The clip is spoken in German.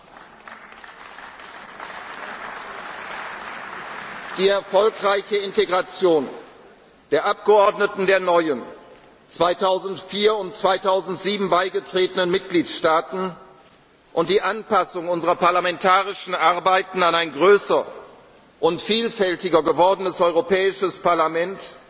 heißt. Die erfolgreiche Integration der Abgeordneten der neuen 2004 und 2007 beigetretenen Mitgliedstaaten und die Anpassung unserer parlamentarischen Arbeiten an ein größer und vielfältiger gewordenes Europäisches